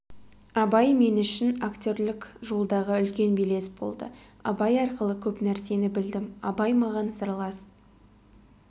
абай мен үшін актерлік жолдағы үлкен белес болды абай арқылы көп нәрсені білдім абай маған сырлас